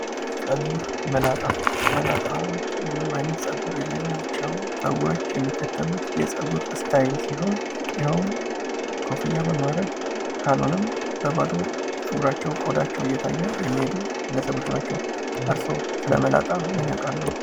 ጸጉር መላጣ፦ መላጣ ምንም አይነት ጸጉር የሌላቸው ሰዎች የሚከተሉት የጸጉር ስታይል ሲሆን የሄውም ኮፍያ በማድረግ ካልሆነም በባዶው ጸጉራቸው እየታየ የሚሄዱ ግለሰቦች ናቸው። እርስዎ ስለመላጣ ምን ያቃሉ?